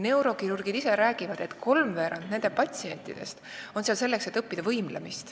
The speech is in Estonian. Neurokirurgid ise räägivad, et kolmveerand nende patsientidest on seal selleks, et õppida võimlemist.